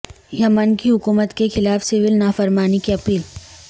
یمن کی حکومت کے خلاف سیول نافرمانی کی اپیل